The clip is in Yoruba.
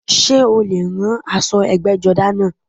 Sé o lè rán aṣọ ẹgbẹ́jọdá náà?